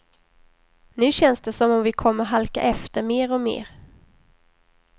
Nu känns det som om vi kommer halka efter mer och mer.